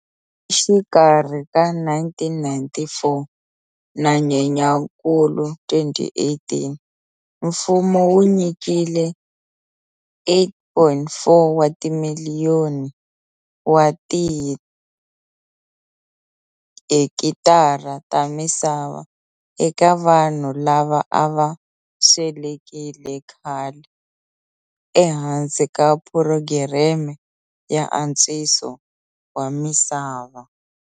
Exikarhi ka 1994 na Nyenyakulu 2018 mfumo wu nyikile 8,4 wa timiliyoni wa tihekitara ta misava eka vanhu lava a va swelekile khale ehansi ka phurogireme ya antswiso wa misava.